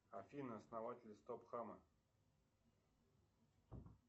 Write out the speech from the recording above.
афина основатель стоп хама